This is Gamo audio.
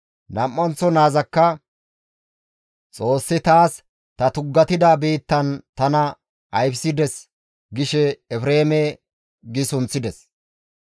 Nam7anththo naazakka, «Xoossi taas ta tuggatida biittan tana ayfissides» gishe Efreeme gi sunththides.